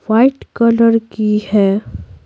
White colour की है।